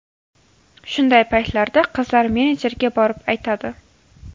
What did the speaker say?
Shunday paytlarda qizlar menejerga borib aytadi.